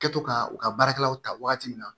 Kɛtɔ ka u ka baarakɛlaw ta wagati min na